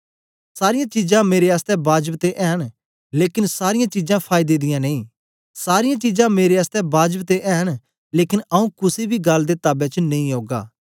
सारीयां चीजां मेरे आसतै बाजब ते ऐ न लेकन सारीयां चीजां फायदे दियां नेई सारीयां चीजां मेरे आसतै बाजब ते ऐ न लेकन आऊँ कुसे बी गल्ल दे ताबे च नेई ओगा